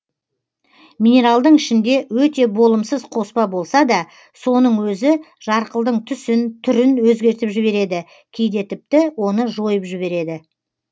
минералдың ішінде өте болымсыз қоспа болса да соның өзі жарқылдың түсін түрін өзгертіп жібереді кейде тіпті оны жойып жібереді